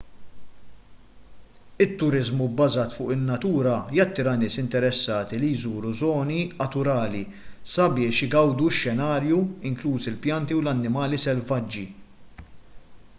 it-turiżmu bbażat fuq in-natura jattira nies interessati li jżuru żoni aturali sabiex igawdu x-xenarju inklużi l-pjanti u l-annimali selvaġġi